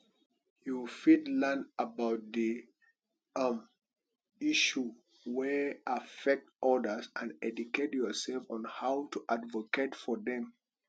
you fit learn about di um issue wey affect odas and educate yourself on how to advocate for dem